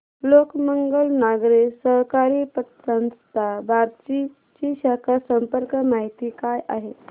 लोकमंगल नागरी सहकारी पतसंस्था बार्शी ची शाखा संपर्क माहिती काय आहे